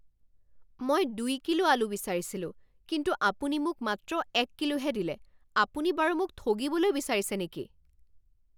মই দুই কিলো আলু বিচাৰিছিলো কিন্তু আপুনি মোক মাত্ৰ এক কিলোহে দিলে! আপুনি বাৰু মোক ঠগিবলৈ বিচাৰিছে নেকি?